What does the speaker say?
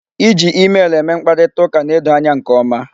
Iji emel eme mkparitaụka na-edo anya nke ọma.